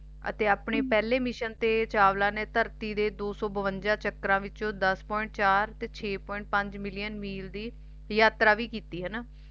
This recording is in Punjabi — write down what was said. ਅਤੇ ਆਪਣੇ ਪਹਿਲੇ mission ਤੇ ਚਾਵਲਾ ਨੇ ਧਰਤੀ ਦੇ ਦੋ ਸੋ ਬਵੰਜਾ ਚਕਰਾ ਵਿੱਚੋ ਦਸ Point ਚਾਰ Point ਚਾਰਤੇ ਛੇ Point ਪੰਜ million ਮਿਲ ਦੀ ਯਾਤਰਾ ਵੀ ਕੀਤੀ ਹੈਨਾ